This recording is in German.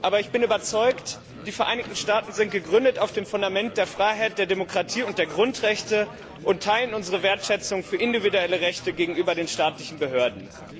Aber ich bin überzeugt, die Vereinigten Staaten sind auf dem Fundament der Freiheit, der Demokratie und der Grundechte gegründet und teilen unsere Wertschätzung für individuelle Rechte gegenüber den staatlichen Behörden.